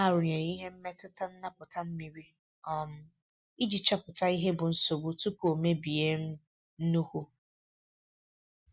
Ha rụnyere ihe mmetụta ntapụta mmiri um iji chopụta ihe bụ nsogbu tupu o mebie um nnukwu.